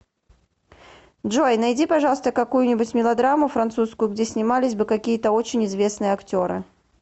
джой найди пожалуйста какую нибудь мелодраму французскую где снимались бы какие то очень известные актеры